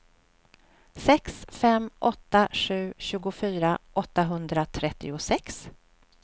sex fem åtta sju tjugofyra åttahundratrettiosex